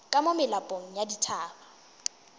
ka mo melapong ya dithaba